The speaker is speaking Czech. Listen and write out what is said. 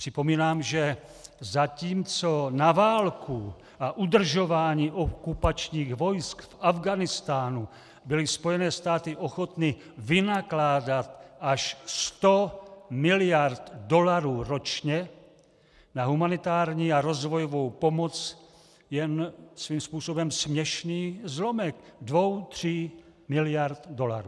Připomínám, že zatímco na válku a udržování okupačních vojsk v Afghánistánu byly Spojené státy ochotny vynakládat až 100 miliard dolarů ročně, na humanitární a rozvojovou pomoc jen svým způsobem směšný zlomek dvou tří miliard dolarů.